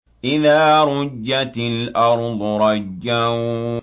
إِذَا رُجَّتِ الْأَرْضُ رَجًّا